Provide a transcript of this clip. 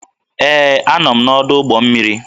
Ee, Anọ m n'ọdụ ụgbọ mmiri